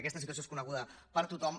aquesta situació és coneguda per tothom